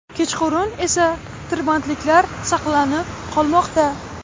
Kechqurun esa tirbandliklar saqlanib qolmoqda.